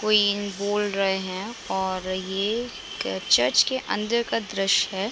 कोई बोल रहे हैं और ये क चर्च के अंदर का दृश्य है।